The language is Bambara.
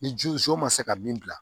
Ni ji zo ma se ka min bila